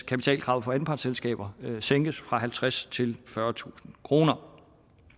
kapitalkravet for anpartsselskaber sænkes fra halvtredstusind kroner fyrretusind kroner